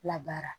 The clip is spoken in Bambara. Labaara